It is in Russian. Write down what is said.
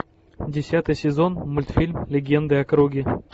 десятый сезон мультфильм легенды о круге